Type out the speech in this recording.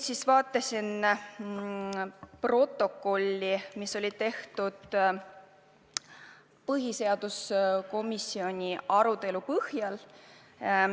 Ma vaatasin ka protokolli, mis on tehtud põhiseaduskomisjoni arutelu põhjal.